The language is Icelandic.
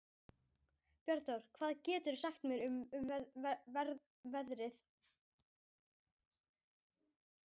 Bjarnþrúður, hvað geturðu sagt mér um veðrið?